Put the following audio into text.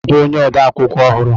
Uche ga-abụ onye ode akwụkwọ ọhụrụ.